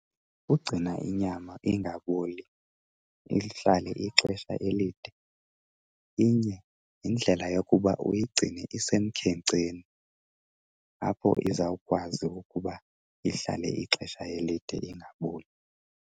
Ugcina inyama ingaboli ihlale ixesha elide inye yindlela yokuba uyigcine isemkhenkceni, apho izawukwazi ukuba ihlale ixesha elide ingaboli.